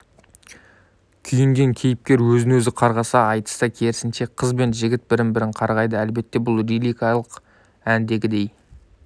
күйінген кейіпкер өзін-өзі қарғаса айтыста керісінше қыз бен жігіт бірін-бірі қарғайды әлбете бұл лирикалық әндегідей